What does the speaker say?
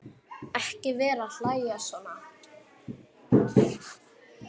Ekki vera að hlæja svona.